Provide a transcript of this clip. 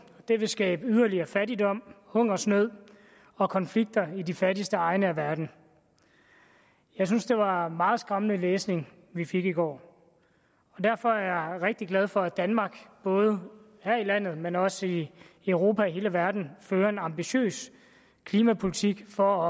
og det vil skabe yderligere fattigdom hungersnød og konflikter i de fattigste egne af verden jeg synes det var meget skræmmende læsning vi fik i går derfor er jeg rigtig glad for at danmark både her i landet men også i europa og hele verden fører en ambitiøs klimapolitik for